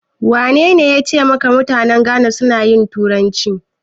Wanene yace maka mutanen Ghana suna yin turanci?